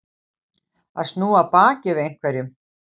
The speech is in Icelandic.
Að snúa baki við einhverjum